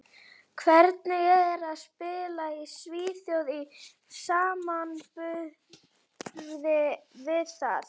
Hvernig er að spila í Svíþjóð í samanburði við það?